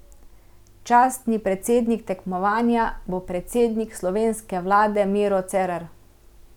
Častni predsednik tekmovanja bo predsednik slovenske vlade Miro Cerar.